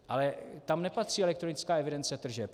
Ale tam nepatří elektronická evidence tržeb.